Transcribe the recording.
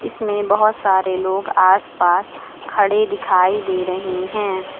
इसमें बहुत सारे लोग आसपास खड़े दिखाई दे रहे हैं।